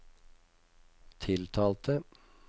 tiltalte